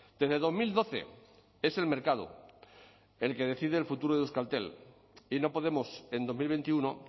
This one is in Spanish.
desde dos mil doce es el mercado el que decide el futuro de euskaltel y no podemos en dos mil veintiuno